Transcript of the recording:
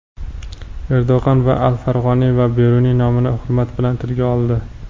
Erdo‘g‘an al-Farg‘oniy va Beruniy nomini hurmat bilan tilga oldi.